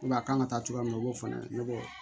a kan ka taa cogoya min na u b'o fɔ ne ɲɛna